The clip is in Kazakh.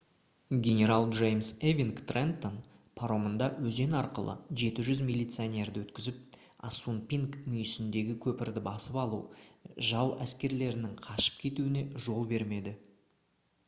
генерал джеймс эвинг «трентон» паромында өзен арқылы 700 милиционерді өткізіп ассунпинк мүйісіндегі көпірді басып алып жау әскерлерінің қашып кетуіне жол бермеді